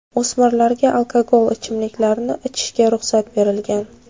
O‘smirlarga alkogol ichimliklarni ichishga ruxsat berilgan.